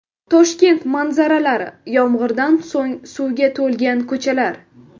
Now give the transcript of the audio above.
Toshkent manzaralari: Yomg‘irdan so‘ng suvga to‘lgan ko‘chalar .